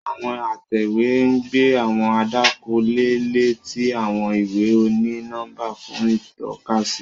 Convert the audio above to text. Àwọn atẹwe n gbé àwọn àdàkọ leè lé ti àwọn ìwé oni-nọmba fún itọkasi.